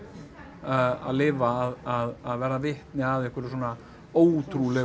að lifa að verða vitni að einhverju svona ótrúlegu